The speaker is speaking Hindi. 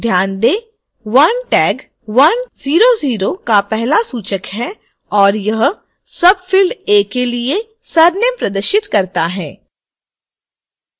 ध्यान दें 1 tag 100 का पहला सूचक है और यह field a के लिए surname प्रदर्शित करता है